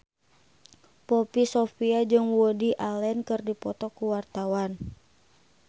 Poppy Sovia jeung Woody Allen keur dipoto ku wartawan